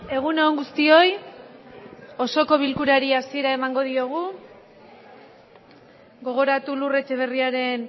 egun on guztioi osoko bilkurari hasiera emango diogu gogoratu lur etxeberriaren